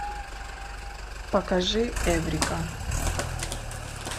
покажи эврика